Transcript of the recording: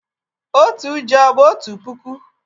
Otu ji o bu otu puku?